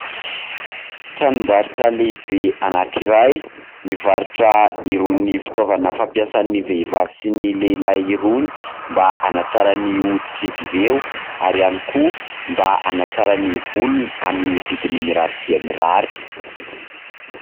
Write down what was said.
Tranombarotra lehibe anankiray, mivarotra irony fitaovana fampiasan'ny vehivavy sy ny lehilahy irony mba hanantsara ny hoditr'izy ireo ary ihany koa mba hanantsara ny volony, amin'ny vidiny mirary dia mirary.